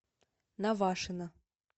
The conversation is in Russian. навашино